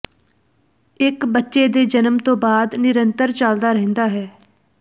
ਇੱਕ ਬੱਚੇ ਦੇ ਜਨਮ ਤੋਂ ਬਾਅਦ ਨਿਰੰਤਰ ਚਲਦਾ ਰਹਿੰਦਾ ਹੈ